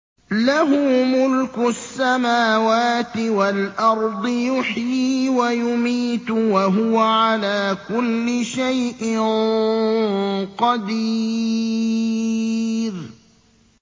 لَهُ مُلْكُ السَّمَاوَاتِ وَالْأَرْضِ ۖ يُحْيِي وَيُمِيتُ ۖ وَهُوَ عَلَىٰ كُلِّ شَيْءٍ قَدِيرٌ